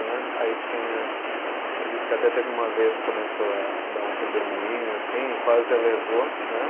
Aí tinha, ela disse que até teve uma vez que começou a dar um redemoinho assim e quase a levou, né